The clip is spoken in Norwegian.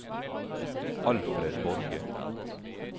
Alfred Borge